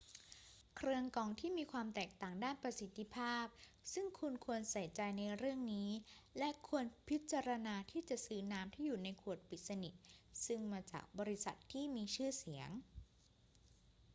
เครื่องกรองมีความแตกต่างด้านประสิทธิภาพซึ่งคุณควรใส่ใจในเรื่องนี้ และควรพิจารณาที่จะซื้อน้ำที่อยู่ในขวดปิดสนิทซึ่งมาจากบริษัทที่มีชื่อเสียง